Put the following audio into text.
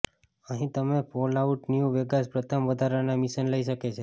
અહીં તમે Fallout New Vegas પ્રથમ વધારાના મિશન લઈ શકે છે